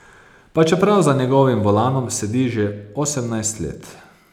Pa čeprav za njegovim volanom sedi že osemnajst let.